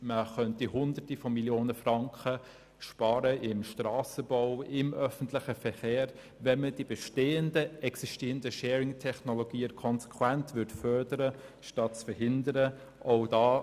Man könnte Hunderte Millionen Franken im Strassenbau und im öffentlichen Verkehr sparen, wenn man die existierenden Sharing-Technologien konsequent fördern statt verhindern würde.